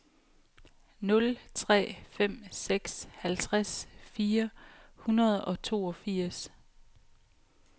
nul tre fem seks halvtreds fire hundrede og toogfirs